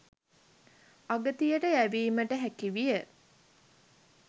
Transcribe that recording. අගතියට යැවීමට හැකි විය.